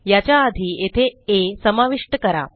याच्या आधी येथे आ समाविष्ट करा